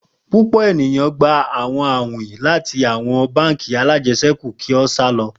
Pupọ eniyan, gba awọn awin lati awọn bánk alájẹsẹ́kù ki o sa lọ.